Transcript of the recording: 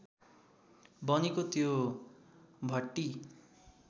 बनेको त्यो भट्टी